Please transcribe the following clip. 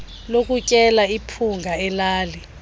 lokutyela iphunga elali